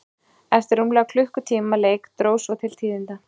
Eftir rúmlega klukkutíma leik dró svo til tíðinda.